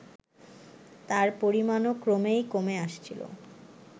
তার পরিমাণও ক্রমেই কমে আসছিল